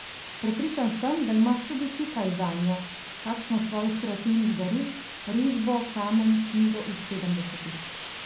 Prepričan sem, da imaš tudi ti kaj zanjo, kakšno svojih kreativnih daril, risbo, kamen, knjigo iz sedemdesetih.